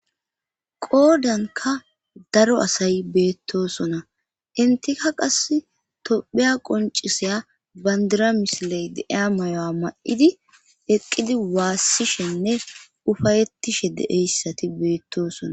qoodanka daro asay beettosona intika qas tophiya qoncisaya bandira misiley de'iyaysati mayo7a ma7idi eqqidi waassishenne ufayettishe deeyssati beettosona